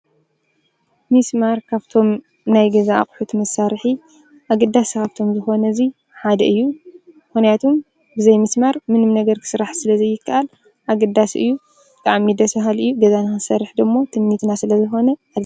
ምስማር ካፍቶም ናይ ገዛ ኣቕሑት መሳርሒ ኣገዳሲ ኻብቶም ዝኾነ እዙይ ሓደ እዩ፡፡ ምኽንያቱ ብዘይ ምስማር ምንም ነገር ክስራሕ ስለ ዘይከኣል ኣግዳሲ እዩ፡፡ ብጣዕሚ ደሰ ባሃሊ እዩ ገዛ ንኽንሰርሕ ደሞ ትምኒትና ስለ ዝኾነ እዩ፡፡